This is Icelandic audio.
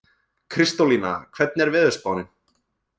Kristólína, hvernig er veðurspáin?